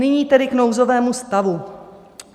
Nyní tedy k nouzovému stavu.